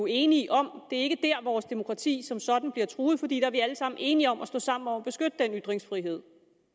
enige om det er ikke dér vores demokrati som sådan bliver truet for vi er alle sammen enige om at stå sammen om at beskytte den ytringsfrihed